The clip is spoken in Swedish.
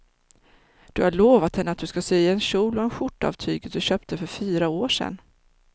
Du har lovat henne att du ska sy en kjol och skjorta av tyget du köpte för fyra år sedan.